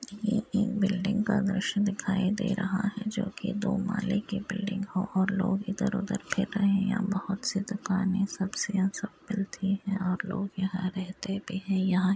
यह एक बिल्डिंग का दृश्य दिखाई दे रहा है जो कि दो माले का बिल्डिंग है और लोग इधर उधर खेल रहे हैं | बोहोत सी दुकाने सब्ज़ियाँ सब मिलती हैं और लोग यहां रहते भी हैं | यहाँ--